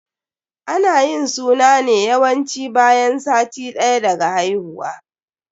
Ana yin suna ne yawanci bayan sati ɗaya daga haihuwa.